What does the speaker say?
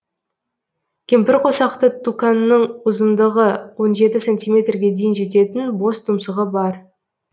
кемпірқосақты туканның ұзындығы он жеті сантиметрге дейін жететін бос тұмсығы бар